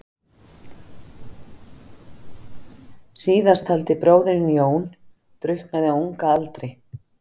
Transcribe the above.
Síðasttaldi bróðirinn, Jón, drukknaði á unga aldri.